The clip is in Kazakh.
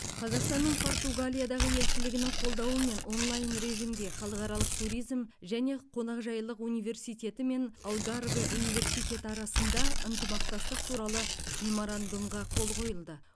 қазақстанның португалиядағы елшілігінің қолдауымен онлайн режимде халықаралық туризм және қонақжайлық университеті мен алгарве университеті арасында ынтымақтастық туралы меморандумға қол қойылды